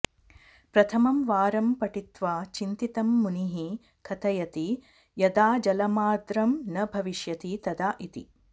प्रथमं वारं पठित्वा चिन्तितं मुनिः कथयति यदा जलमार्द्रं न भविष्यति तदा इति